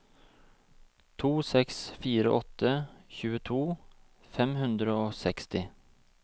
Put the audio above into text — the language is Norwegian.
to seks fire åtte tjueto fem hundre og seksti